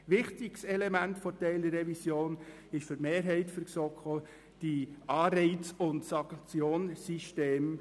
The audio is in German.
Ein wichtiges Element der Teilrevision ist für die Mehrheit der GSoK auch das Anreiz- und Sanktionssystem.